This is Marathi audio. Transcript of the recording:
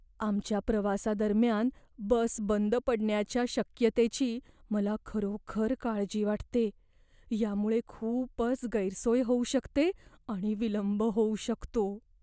आमच्या प्रवासादरम्यान बस बंद पडण्याच्या शक्यतेची मला खरोखर काळजी वाटते, यामुळे खूपच गैरसोय होऊ शकते आणि विलंब होऊ शकतो.